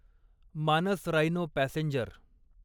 Manas rhino passenger